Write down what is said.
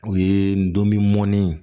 O ye n donni mɔnni ye